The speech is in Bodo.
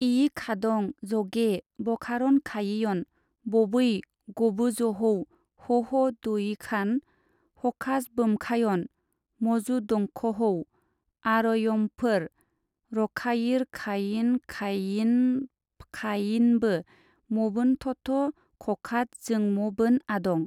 इयिखादं-जगे बखारनखायियन बबै गबोजहौ हह-दयिखान हखाजबोमखायन मजुदंखहौ आरयमफबोर रखायिरखायिनखाययिफखायिनबो मबोनथथ खखादजोंमबोन आदं ।